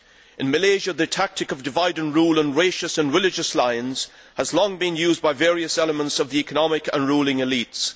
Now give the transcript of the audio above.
In Malaysia, the tactic of divide and rule on racial and religious lines has long been used by various elements of the economic and ruling elites.